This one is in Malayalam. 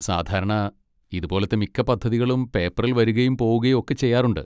സാധാരണ, ഇതുപോലത്തെ മിക്ക പദ്ധതികളും പേപ്പറിൽ വരുകയും പോവുകയും ഒക്കെ ചെയ്യാറുണ്ട്.